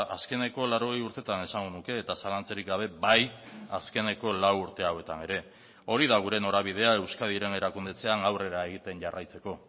azkeneko laurogei urteetan esango nuke eta zalantzarik gabe bai azkeneko lau urte hauetan ere hori da gure norabidea euskadiren erakundetzean aurrera egiten jarraitzeko